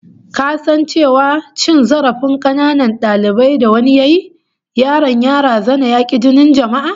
Ka san cewa dalilin cin zarafin kananan dalibin da wani yayi, yaron ya razana razana ya ki jinin jama'a?